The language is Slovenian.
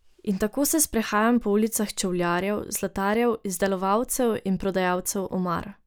In tako se sprehajam po ulicah čevljarjev, zlatarjev, izdelovalcev in prodajalcev omar...